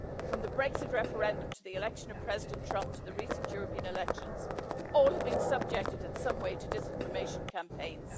From the Brexit referendum, to the election of President Trump, to the recent European elections, all have been subjected in some way to disinformation campaigns.